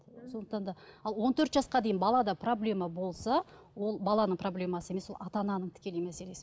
сондықтан да ал он төрт жасқа дейін балада проблема болса ол баланың проблемасы емес ол ата ананың тікелей мәселесі